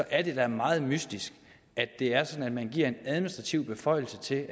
er det da meget mystisk at det er sådan at man giver en administrativ beføjelse til